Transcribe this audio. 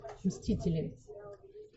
мстители